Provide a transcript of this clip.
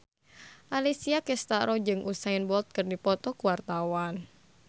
Alessia Cestaro jeung Usain Bolt keur dipoto ku wartawan